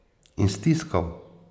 In stiskal.